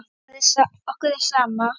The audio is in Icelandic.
Okkur er sama.